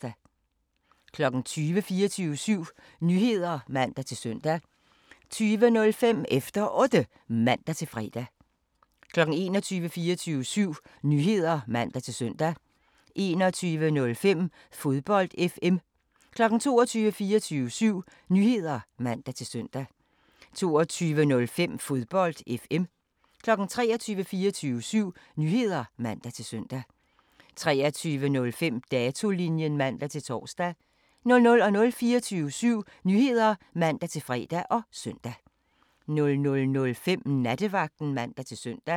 20:00: 24syv Nyheder (man-søn) 20:05: Efter Otte (man-fre) 21:00: 24syv Nyheder (man-søn) 21:05: Fodbold FM 22:00: 24syv Nyheder (man-søn) 22:05: Fodbold FM 23:00: 24syv Nyheder (man-søn) 23:05: Datolinjen (man-tor) 00:00: 24syv Nyheder (man-fre og søn) 00:05: Nattevagten (man-søn)